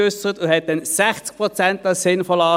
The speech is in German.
Damals erachtete er 60 Prozent als sinnvoll.